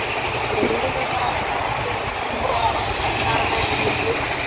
Leifur var sáttur með sína menn í leikslok.